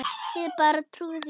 Ég bara trúi því ekki.